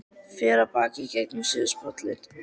Fer af baki og gengur síðasta spölinn.